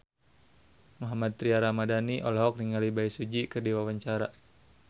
Mohammad Tria Ramadhani olohok ningali Bae Su Ji keur diwawancara